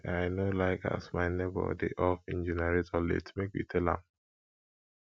i i no like as my nebor dey off im generator late make we tell am